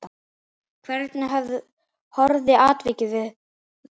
Hvernig horfði atvikið við Halli?